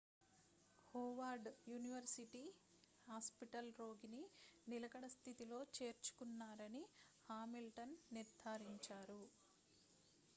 Howard university hospital రోగిని నిలకడ స్థితిలో చేర్చుకున్నారని హామిల్టన్ నిర్ధారించారు